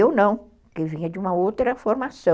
Eu não, porque vinha de uma outra formação.